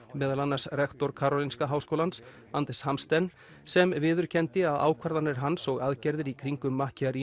meðal annars rektor Karolinska háskólans Anders Hamsten sem viðurkenndi að ákvarðanir hans og aðgerðir í kringum